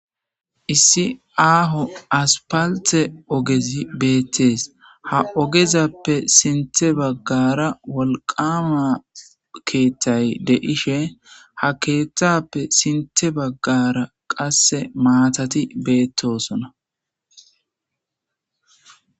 Issi aho asfalte ogezi betes ogexape sintha bagara wolqama kehazi de'ishe izape sintha bagara qase maatati betosona